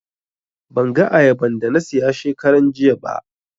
Ban ga ayaban da na siya shekaran jiya ba